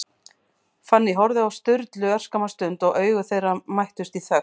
Fanný horfði á Sturlu örskamma stund, og augu þeirra mættust í þögn.